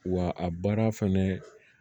Wa a baara fɛnɛ